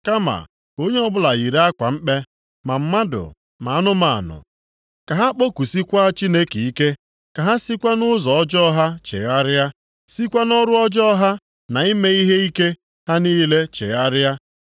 Kama ka onye ọbụla yiri akwa mkpe, ma mmadụ ma anụmanụ, ka ha kpọkusikwaa Chineke ike, ka ha sikwa nʼụzọ ọjọọ ha chegharịa, sikwa nʼọrụ ọjọọ ha na ime ihe ike ha niile chegharịa.